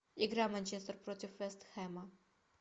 игра манчестер против вест хэма